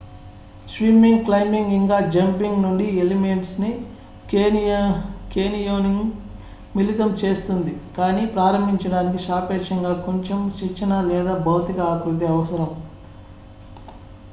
swimming climbing ఇంకా jumping నుండి elements ని కేనియోనింగ్ మిళితం చేస్తుంది-కానీ ప్రారంభించడానికి సాపేక్షంగా కొంచెం శిక్షణ లేదా భౌతిక ఆకృతి అవసరం రాక్ క్లైంబింగ్ స్కూబా డైవింగ్ లేదా ఆల్పైన్ స్కీయింగ్ తో పోలిస్తే ఉదాహరణకు